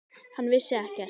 Hann vissi ekkert.